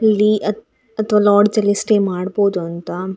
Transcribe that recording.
ಈ ಚಿತ್ರದಲ್ಲಿ ಒಂದು ಕೆಫೆ ಅನ್ನ ತೋರ್ಸಿದ್ದಾರೆ ಅದ್ರ ಹೆಸ್ರು ಕಾಫಿ ಹೌಸ್‌ ಅಂತ.